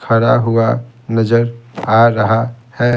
खड़ा हुआ नजर आ रहा है।